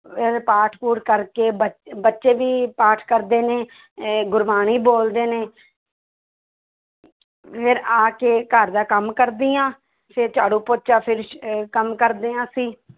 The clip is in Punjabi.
ਇਹ ਪਾਠ ਪੂਠ ਕਰਕੇ ਬੱ~ ਬੱਚੇ ਵੀ ਪਾਠ ਕਰਦੇ ਨੇ ਅਹ ਗੁਰਬਾਣੀ ਬੋਲਦੇ ਨੇ ਫਿਰ ਆ ਕੇ ਘਰਦਾ ਕੰਮ ਕਰਦੀ ਹਾਂ ਫਿਰ ਝਾੜੂ ਪੋਚਾ ਫਿਰ ਅਹ ਕੰਮ ਕਰਦੇ ਹਾਂ ਅਸੀਂ